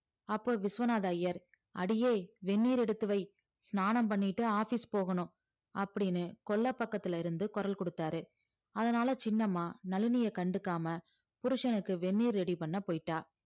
அப்போ விஸ்வநாத ஐயர் அடியே வெண்ணீர் எடுத்து வை ஸ்நானம் பண்ணிட்டு office போகணும் அப்படீன்னு கொல்லைப்பக்கத்திலிருந்து குரல் கொடுத்தாரு அதனால சின்னம்மா நளினிய கண்டுக்காம புருஷனுக்கு வெந்நீர் ready பண்ண போயிட்டா